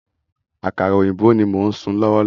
Àkàrà òyìnbó ní mo ń sun lọ́wọ́lọ́wọ́